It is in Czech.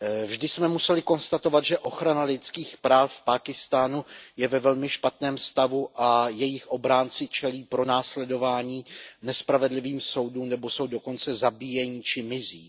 Vždy jsme museli konstatovat, že ochrana lidských práv v Pákistánu je ve velmi špatném stavu a jejich obránci čelí pronásledování, nespravedlivým soudům nebo jsou dokonce zabíjeni či mizí.